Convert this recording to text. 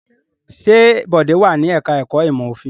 Ṣé Bọ̀dé wà ní ẹ̀ka-ẹ̀kọ́ ìmọ̀-òfin?